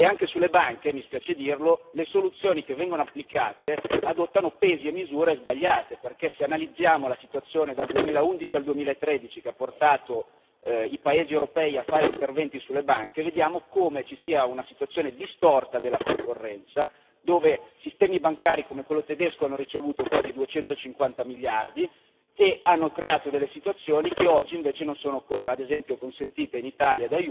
Anche sulle banche, mi spiace dirlo, le soluzioni che vengono applicate adottano pesi e misure sbagliate perché, se analizziamo la situazione dal 2011 al 2013, che ha portato i paesi europei a fare interventi sulle banche, vediamo come ci sia una situazione distorta della concorrenza, dove sistemi bancari come quello tedesco hanno ricevuto quasi 250 miliardi e hanno creato delle situazioni di aiuto, che oggi invece non sono ad esempio consentite in Italia,